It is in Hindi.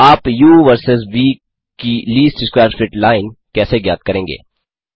आप उ वर्सस व की लीस्ट स्कवैर फिट लाइन कैसे ज्ञात करेंगे